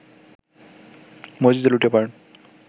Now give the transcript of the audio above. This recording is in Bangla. মসজিদে লুটিয়ে পড়েন